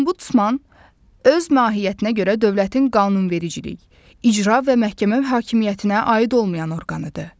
Ombudsman öz mahiyyətinə görə dövlətin qanunvericilik, icra və məhkəmə hakimiyyətinə aid olmayan orqanıdır.